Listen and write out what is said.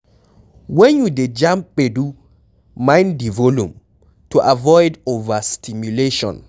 When you dey jam gbedu, mind di volume, to avoid overstimulation